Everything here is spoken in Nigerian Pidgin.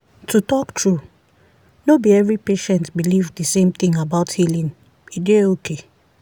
to talk true no be every patient believe the same thing about healing e dey okay.